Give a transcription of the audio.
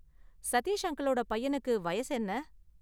சதீஷ் அங்கிளோட பையனுக்கு வயசு என்ன?